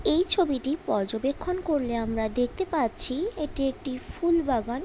এই ছবিটি পর্যবেক্ষণ করলে আমরা দেখতে পাচ্ছি এটি একটি ফুল বাগান।